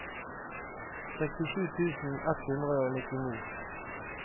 sekstisju tusen ett hundre og nittini